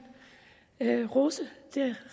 rose det